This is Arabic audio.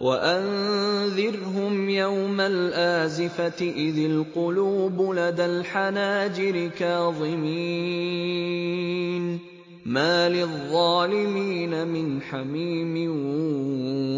وَأَنذِرْهُمْ يَوْمَ الْآزِفَةِ إِذِ الْقُلُوبُ لَدَى الْحَنَاجِرِ كَاظِمِينَ ۚ مَا لِلظَّالِمِينَ مِنْ حَمِيمٍ